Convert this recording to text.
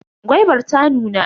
Gwaibar ta nuna.